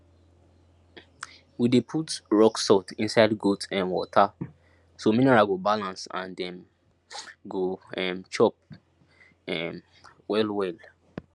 we dey put rock salt inside goat um water so mineral go balance and dem go um chop um well well